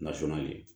Nasɔn ye